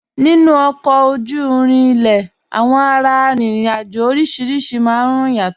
Nínu ọ̀kọ ojú-ìrìn ilẹ̀, awọn ara-ìrìn-àjọ̀ orísíríṣì máa n rún yàtọ̀.